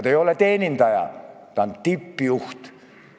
Ta ei ole teenindaja, ta on tippjuht.